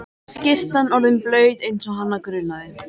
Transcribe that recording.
Skyrtan orðin blaut eins og hana grunaði.